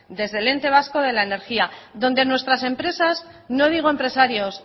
desde el ente vasco de la energía donde nuestras empresas no digo empresarios